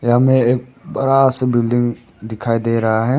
यहां में एक बड़ा सा बिल्डिंग दिखाई दे रहा है।